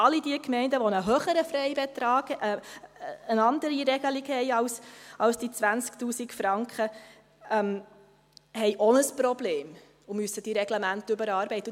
Alle Gemeinden, welche einen höheren Freibetrag haben, eine andere Regelung haben als die 20 000 Franken, haben auch ein Problem und müssen die Reglemente überarbeiten.